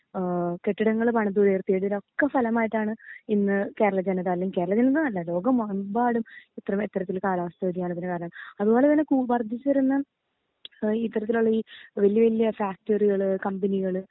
ഏഹ് കെട്ടിടങ്ങൾ പണിതുയർത്തി ഇതിനൊക്കെ ഫലമായിട്ടാണ് ഇന്ന് കേരള ജനത അല്ലെങ്കി കേരള ജനതാന്നല്ല ലോകമെമ്പാടും ഇത്ര വേത്രത്തിൽ കാലാവസ്ഥ വേദിയാനത്തിന് കാരണം അതുപോലെതന്നെ കൂ വർദ്ധിച്ച് വരുന്ന ഓ ഈ ഇത്തരത്തിലുള്ള ഈ വല്യ വല്യ ഫാക്ടറികൾ കമ്പനികൾ